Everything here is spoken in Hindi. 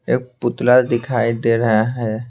एक पुतला दिखाई दे रहा है।